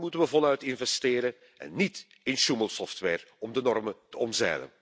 Daarin moeten we voluit investeren en niet in sjoemelsoftware om de normen te omzeilen.